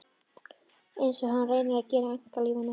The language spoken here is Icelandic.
Einsog hann reyni að gera í einkalífinu.